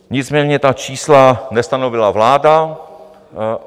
Nicméně ta čísla nestanovila vláda.